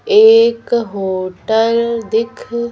एक होटल दिख --